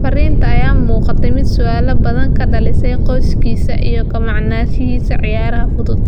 Fariintan ayaa u muuqatay mid su’aalo badan ka dhalisay qoyskiisa iyo ka maqnaanshihiisa ciyaaraha fudud.